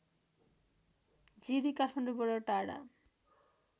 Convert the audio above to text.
जिरी काठमाडौँबाट टाढा